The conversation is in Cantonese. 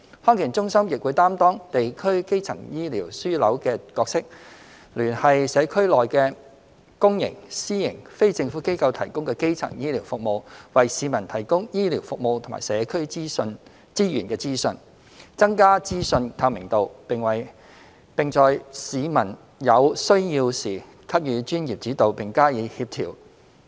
康健中心亦會擔當地區基層醫療樞紐的角色，聯繫社區裏的公營、私營、非政府機構提供的基層醫療服務，為市民提供醫療服務及社區資源的資訊，增加資訊透明度，並在市民有需要時給予專業指導並加以協調。